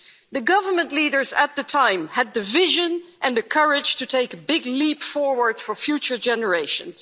The government leaders at the time had the vision and the courage to take a big leap forward for future generations.